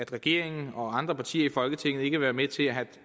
regeringen og andre partier i folketinget ikke vil være med til at have